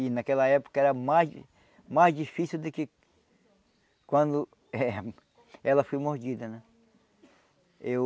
E naquela época era mais mais difícil do que quando eh ela foi mordida, né? Eu